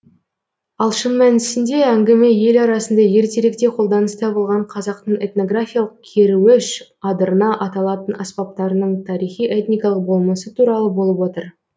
ал шын мәнісінде әңгіме ел арасында ертеректе қолданыста болған қазақтың этнографиялық керуіш адырна аталатын аспаптарының тарихи этникалық болмысы туралы болып отыр